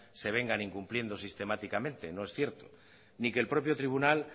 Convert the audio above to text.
se vengan incumpliendo sistemáticamente no es cierto ni que el propio tribunal